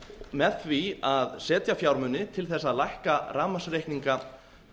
með því að setja fjármuni til þess að lækka rafmagnsreikninga